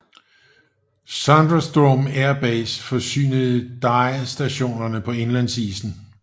Sondrestrom Air Base forsynede DYE stationerne på indlandsisen